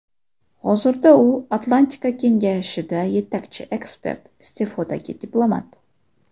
Hozirda u Atlantika Kengashida yetakchi ekspert, iste’fodagi diplomat.